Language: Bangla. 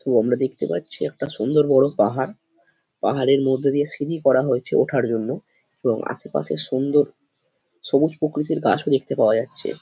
তো আমরা দেখতে পাচ্ছি একটা সুন্দর বড় পাহাড় পাহাড়ের মধ্যে দিয়ে সিঁড়ি করা হয়েছে ওঠার জন্য এবং আশেপাশে সুন্দর সবুজ প্রকৃতির গাছও দেখতে পাওয়া যাচ্ছে ।